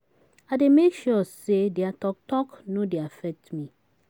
I dey make sure sey their talk talk no dey affect me.